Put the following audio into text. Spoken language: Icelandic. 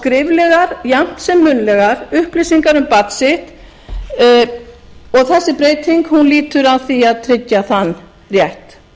skriflegar jafnt sem munnlegar upplýsingar um barn sitt og þessi breyting lýtur að því að tryggja þann rétt